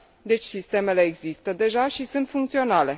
Deci, sistemele există deja și sunt funcționale.